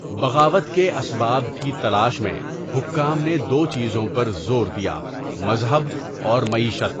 بغاوت کے اسباب کی تلاش میں حکام نے دو چیزوں پر زور دیا مذہب اور معیشت.